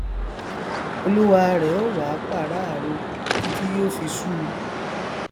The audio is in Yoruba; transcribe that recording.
olúwa rẹ ó wá pàráàró títí yó fi sú u